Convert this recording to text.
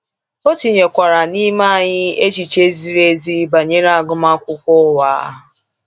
O tinyekwara n’ime anyị echiche ziri ezi banyere agụmakwụkwọ ụwa.